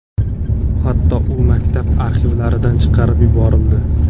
Hatto u maktab arxivlaridan chiqarib yuborildi.